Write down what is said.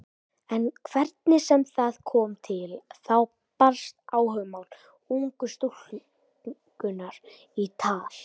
En hvernig sem það kom til þá barst áhugamál ungu stúlkunnar í tal.